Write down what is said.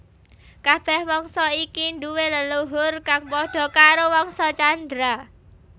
Kabèh wangsa iki duwé leluhur kang padha karo Wangsa Candra